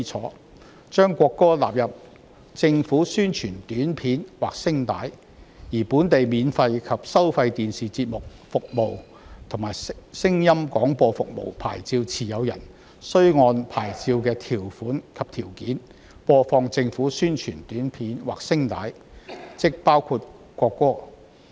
《條例草案》將國歌納入政府宣傳短片或聲帶，而本地免費及收費電視節目服務和聲音廣播服務牌照持有人，須按牌照的條款及條件，播放政府宣傳短片或聲帶，即包括國歌。